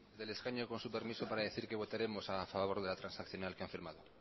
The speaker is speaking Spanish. desde el escaño con su permiso para decir que votaremos a favor de la transaccional que han firmado